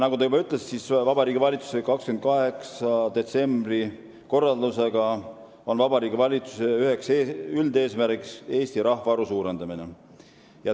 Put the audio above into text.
Nagu te juba ütlesite, on Vabariigi Valitsuse 28. detsembri korraldusega valitsuse üheks üldeesmärgiks määratud Eesti rahvaarvu suurendamine.